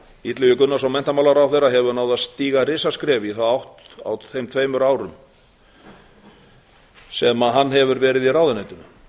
illugi gunnarsson menntamálaráðherra hefur náð að stíga risaskref í þá átt á þeim tveimur árum sem hann hefur verið í ráðuneytinu